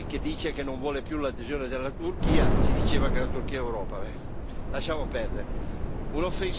Qualcuno che adesso è pentito e che dice che non vuole più l'adesione della Turchia ci diceva che la Turchia è Europa.